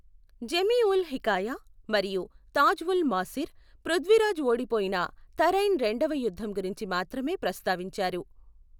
Jamie ul Hikaya మరియు తాజ్ ఉల్ మాసిర్ పృథ్వీరాజ్ ఓడిపోయిన తరైన్ రెండవ యుద్ధం గురించి మాత్రమే ప్రస్తావించారు.